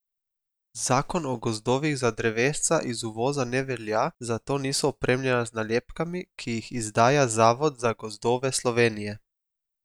Zakon o gozdovih za drevesca iz uvoza ne velja, zato niso opremljena z nalepkami, ki jih izdaja zavod za gozdove Slovenije.